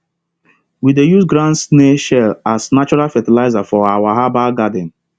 we dey use ground snail shell as natural fertilizer for our herbal garden